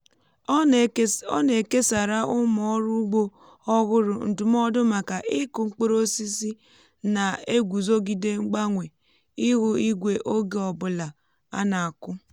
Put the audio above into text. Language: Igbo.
ọ na-ekesara ụmụ ọrụ ugbo ọhụrụ ndụmọdụ maka ịkụ mkpụrụ osisi na-eguzogide mgbanwe ihu igwe oge ọ bụla a na-akụ